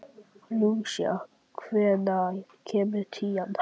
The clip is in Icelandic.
Lúsía, hvenær kemur tían?